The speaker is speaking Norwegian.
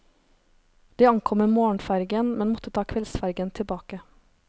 De ankom med morgenfergen, men måtte ta kveldsfergen tilbake.